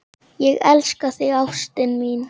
Ég elska þig, ástin mín.